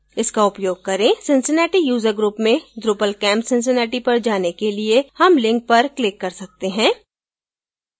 इसका उपयोग करके cincinnati user group में drupalcamp cincinnati पर जाने के लिए हम link पर click कर सकते हैं